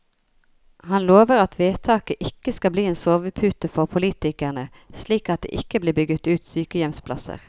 Han lover at vedtaket ikke skal bli en sovepute for politikerne, slik at det ikke blir bygget ut sykehjemsplasser.